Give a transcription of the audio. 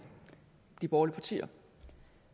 de borgerlige partier